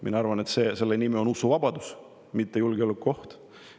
Mina arvan, et seda nimetatakse usuvabaduseks, mitte julgeolekuohuks.